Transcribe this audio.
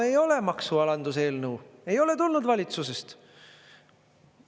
Ei ole maksualanduseelnõu, ei ole tulnud valitsusest.